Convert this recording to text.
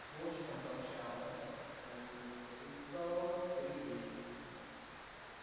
с вовчиком пообщалась полюбопытствовал сергей